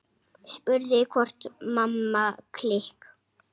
Spurður hvort Mamma klikk!